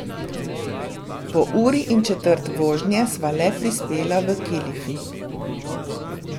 Po uri in četrt vožnje sva le prispela v Kilifi.